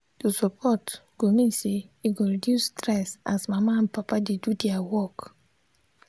to support go mean say e go reduce stress as mama and papa dey do their work.